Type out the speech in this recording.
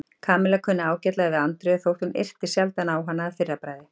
Kamilla kunni ágætlega við Andreu þótt hún yrti sjaldan á hana að fyrra bragði.